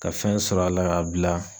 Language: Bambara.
Ka fɛn sɔrɔ a la ka bila.